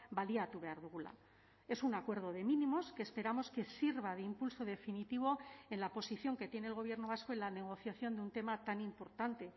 baliatu behar dugula es un acuerdo de mínimos que esperamos que sirva de impulso definitivo en la posición que tiene el gobierno vasco en la negociación de un tema tan importante